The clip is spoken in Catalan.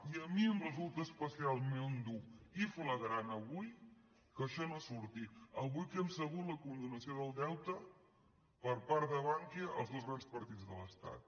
i a mi em resulta especialment dur i flagrant avui que això no surti avui que hem sabut la condonació del deute per part de bankia als dos grans partits de l’estat